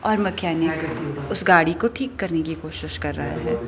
और मैकेनिक उस गाड़ी को ठीक करने की कोशिश कर रहा है।